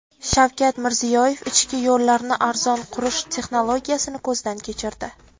Shavkat Mirziyoyev ichki yo‘llarni arzon qurish texnologiyasini ko‘zdan kechirdi.